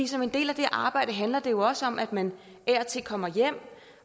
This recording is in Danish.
som en del af det arbejde handler det jo også om at man af og til kommer hjem